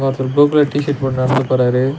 ஒரு blue colour T shirt போட்டு நடந்து போறாரு.